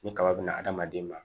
Ni kaba bɛna adamaden ma